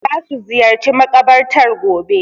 Za su ziyarci makabartar gobe.